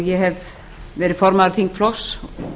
ég hef verið formaður þingflokks